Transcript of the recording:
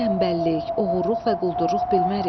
Tənbəllik, oğurluq və quldurluq bilmərik.